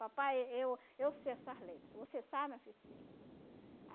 Papai, eu eu sei essas letras, você sabe minha filha? Sei